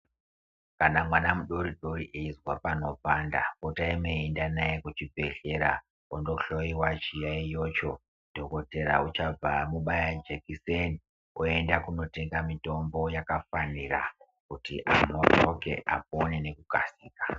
Kana mwana mudori-dori eizwa panopanda, potai meienda naye kuchibhedhlera ondohloyiwa zviyaiyozvo. Dhokotera uchabva amubaya jekiseni oenda kunotenga mutombo yakafanira kuti arapike, apone nekukasika.